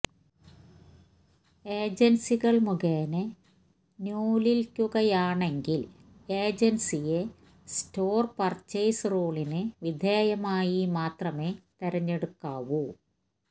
ഏജന്സികള് മുഖേന നൂല്വില്ക്കുകയാണെങ്കില് ഏജന്സിയെ സ്റ്റോര് പര്ച്ചേയ്സ് റൂളിന് വിധേയമായി മാത്രമെ തെരഞ്ഞെടുക്കാവു